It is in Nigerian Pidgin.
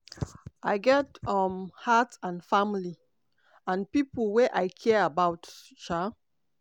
i get um heart and family and pipo wey i care about". um